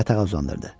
Yatağa uzandırdı.